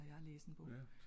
Det kalder jeg læsning